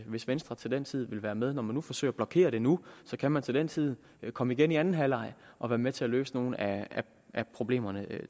hvis venstre til den tid vil være med når man forsøger at blokere det nu kan man til den tid komme igen i anden halvleg og være med til at løse nogle af problemerne